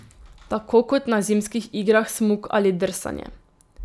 Tako kot na zimskih igrah smuk ali drsanje.